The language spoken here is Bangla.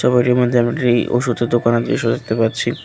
গলির মধ্যে আমি একটি ওষুধের দোকানের দৃশ্য দেখতে পাচ্ছি।